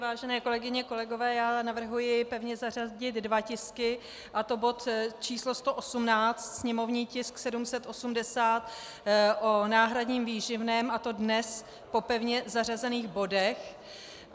Vážené kolegyně, kolegové, já navrhuji pevně zařadit dva tisky, a to bod č. 118, sněmovní tisk 780, o náhradním výživném, a to dnes po pevně zařazených bodech.